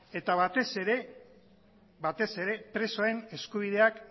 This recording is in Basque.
eta batez ere batez ere presoen eskubideak